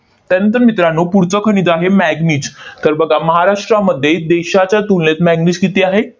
त्यानंतर मित्रांनो, पुढचं खनिज आहे manganese तर बघा, महाराष्ट्रामध्ये देशाच्या तुलनेत manganese किती आहे?